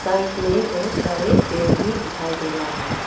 Site में बहुत सारे पेर भी दिखाई दे रहा है।